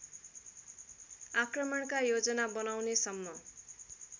आक्रमणका योजना बनाउनेसम्म